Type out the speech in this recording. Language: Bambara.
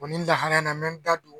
nin lahala nin na me da don